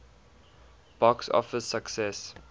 box office success